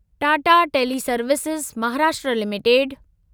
Tata teleservices Maharashtra limited